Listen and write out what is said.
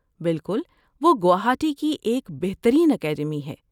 بالکل، وہ گوہاٹی کی ایک بہترین اکیڈمی ہے۔